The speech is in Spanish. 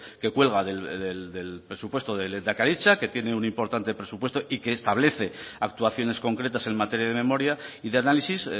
que cuelga del presupuesto de lehendakaritza que tiene un importante presupuesto y que establece actuaciones concretas en materia de memoria y de análisis